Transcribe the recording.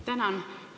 Tänan!